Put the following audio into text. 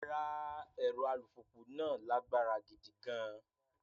Rárá, ẹ̀rọ alùpùpù náà lágbára gidi gan-an.